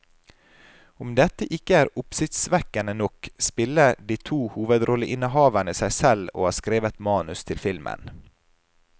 Om dette ikke er oppsiktsvekkende nok, spiller de to hovedrolleinnehaverne seg selv og har skrevet manus til filmen.